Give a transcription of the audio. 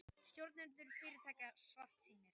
Stjórnendur fyrirtækja svartsýnir